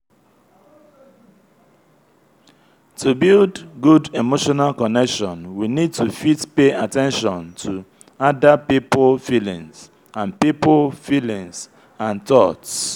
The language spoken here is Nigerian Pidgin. to build good emotional connection we need to fit pay at ten tion to ada pipo feelingds and pipo feelingds and thoughts